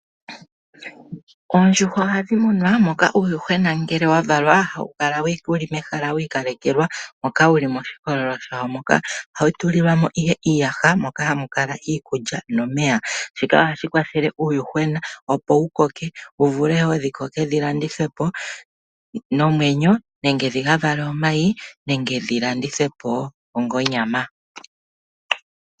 Oondjuhwa ohadhi munwa moka uuyuhwena ngele wa valwa hawu kala wuli mehala wi ikalekelwa, moka wuli moshikololo shawo moka. Ohawu tulilwa mo ihe iiyaha moka hamu kala iikulya nomeya. Shika ohashi kwathele uuyuhwena opo wu koke wu vule wo dhi koke dhi landithwe po nomwenyo nenge dhi ka vale omayi nenge dhi landithwe po onga onyama.